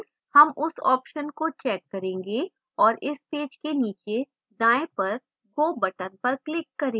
हम उस option को check करेंगे और इस पेज के नीचे दाएं पर go button पर click करें